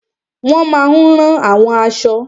Wọ́n máa n rán àwọn aṣọ